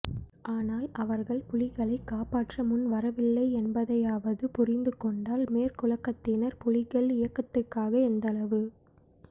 ஆனால் அவர்கள் புலிகளை காப்பாற்ற முன்வரவில்லை என்பதையாவது புரிந்து கொண்டால் மேற்குலகத்தினர் புலிகள் இயகத்துக்காக எந்தளவு